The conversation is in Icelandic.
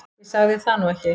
Ég sagði það nú ekki